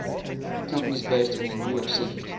companies based in new york city